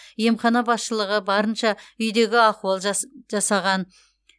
емхана басшылығы барынша үйдегі ахуал жасаған